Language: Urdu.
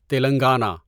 تلنگانہ